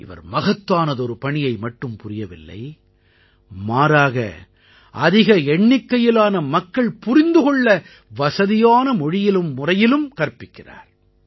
இவர் மகத்தானதொரு பணியை மட்டும் புரியவில்லை மாறாக அதிக எண்ணிக்கையிலான மக்கள் புரிந்து கொள்ள வசதியான மொழியிலும் முறையிலும் கற்பிக்கிறார்